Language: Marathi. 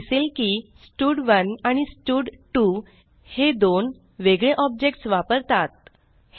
असे दिसेल की स्टड1 आणि स्टड2 हे दोन वेगळे ऑब्जेक्ट्स वापरतात